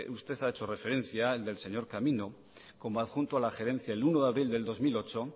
usted ha hecho referencia el del señor camino como adjunto a la gerencia el uno de abril del dos mil ocho